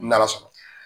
N'ala sɔnna